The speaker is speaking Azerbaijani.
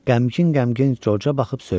Qəmgin-qəmgin Corca baxıb söylədi: